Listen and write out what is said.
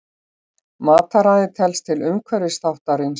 Mataræði telst til umhverfisþáttarins.